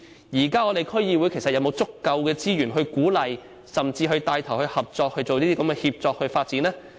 現時區議會究竟有否足夠資源鼓勵甚至牽頭進行這類協作發展呢？